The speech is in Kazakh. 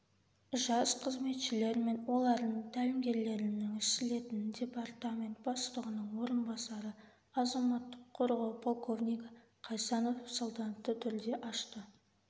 жас қызметшілер мен олардың тәлімгерлерінің слетін департамент бастығының орынбасары азаматтық қорғау полковнигі қайсанов салтанатты түрде ашты